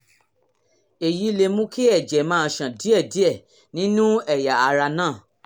èyí lè mú kí ẹ̀jẹ̀ máa ṣàn díẹ̀díẹ̀ nínú ẹ̀yà ara náà